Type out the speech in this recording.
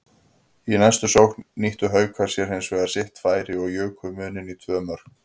Í næstu sókn nýttu Haukar sér hinsvegar sitt færi og juku muninn í tvö mörk.